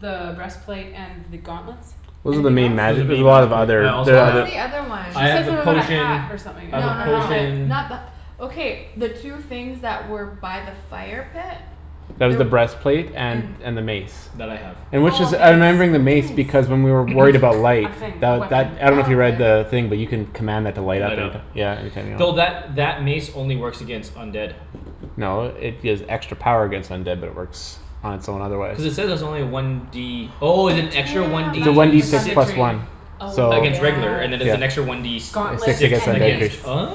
The breastplate and the gauntlets? Those are the Anything else? main magi- Those as are main we'll magic have other I there's What also was have the the other one? She I have said the something about a potion hat or something. I No have a A no no helmet potion not the okay the two things that were by the fire pit? That was There the breastplate and and and the mace. That I have. And which Oh a is I'm mace. remembering the What's mace a because mace? when we were worried about light A thing, a The weapon. that I dunno if Oh you read okay the thing but you can Command that to light up Light and you up. c- yeah you turn it Though that on. that mace only works against undead. No it gives extra power against undead but it works on its own otherwise. Cuz it says it's only one D Oh is it extra one Damn D It's a that's one worth D for six? six Thunder plus Tree. one. Oh So Against regular and then there's an yeah. extra one yes D And s- Gauntlets sixty six and percent against mace. Oh